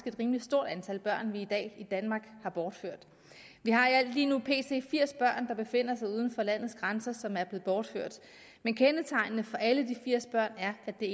et rimelig stort antal børn vi i dag i danmark har bortført vi har i alt lige nu firs børn der befinder sig uden for landets grænser som er blevet bortført men kendetegnende for alle de firs børn er at det